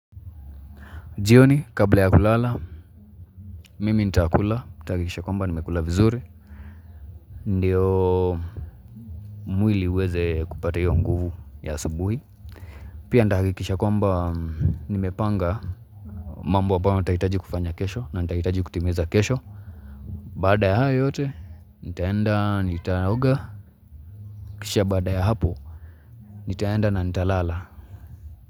Jioni, kabla ya kulala, mimi nitakula, nitahakikisha kwamba nimekula vizuri Ndiyo mwili uweze kupata hio nguvu ya asabuhi Pia nitahakikisha kwamba nimepanga mambo ambayo nitahitaji kufanya kesho na nitahitaji kutengeneneza kesho Baada ya hayo yote, nitaenda, nitaoga Kisha baada ya hapo, nitaenda na nitalala.